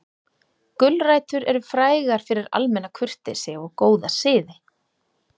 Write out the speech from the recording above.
Gulrætur eru frægar fyrir almenna kurteisi og góða siði.